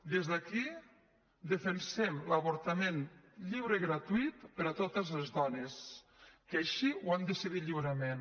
des d’aquí defensem l’avortament lliure i gratuït per a totes les dones que així ho han decidit lliurement